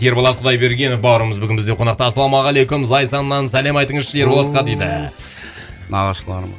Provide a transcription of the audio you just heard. ерболат құдайбергенов бауырымыз бүгін бізде қонақта ассалаумағалейкум зайсаннан сәлем айтыңызшы ерболатқа дейді үүү нағашыларым